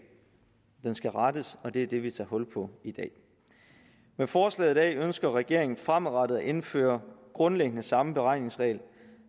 den skal rettes og det er det vi tager hul på i dag med forslaget i dag ønsker regeringen fremadrettet at indføre grundlæggende samme beregningsregel